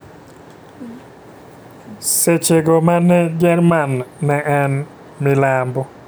seche go mane jerman ne en milambo,